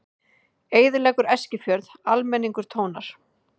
Eyðileggur Eskifjörð, almenningur tónar